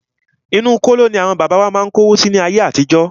Inú kóló ní àwọn bàbá wa má ń kówó si láyé àtijọ́.